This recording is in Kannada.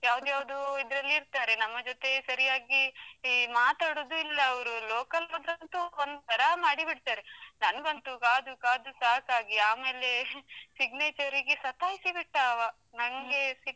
ಯಾವುದ್ಯಾವುದೋ ಇದ್ರಲ್ಲಿ ಇರ್ತಾರೆ, ನಮ್ಮ ಜೊತೆ ಸರಿಯಾಗಿ ಮಾತಾಡುದು ಇಲ್ಲ ಅವ್ರು, local ಹೋದ್ರಂತು ಒಂತರಾ ಮಾಡಿ ಬಿಡ್ತಾರೆ, ನಂಗಂತೂ ಕಾದು ಕಾದು ಸಾಕಾಗಿ ಆಮೇಲೆ signature ರಿಗೆ ಸತಾಯಿಸಿ ಬಿಟ್ಟ ಆವ.